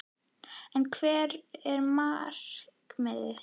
En hvert er markmiðið?